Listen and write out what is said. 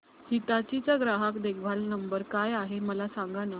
हिताची चा ग्राहक देखभाल नंबर काय आहे मला सांगाना